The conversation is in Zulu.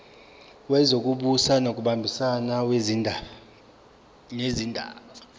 wezokubusa ngokubambisana nezindaba